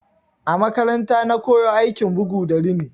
A makaranta na koyo aikin bugu da rini.